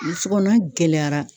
Burusi kɔnɔma gɛlɛyara